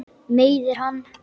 Meiðir hann.